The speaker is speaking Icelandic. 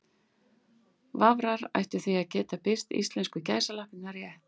Vafrar ættu því að geta birt íslensku gæsalappirnar rétt.